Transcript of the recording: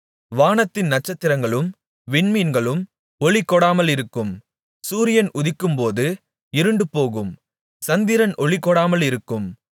வானத்தின் நட்சத்திரங்களும் விண்மீன்களும் ஒளி கொடாமலிருக்கும் சூரியன் உதிக்கும்போது இருண்டுபோகும் சந்திரன் ஒளி கொடாமலிருக்கும்